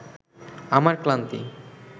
আমার ক্লান্তি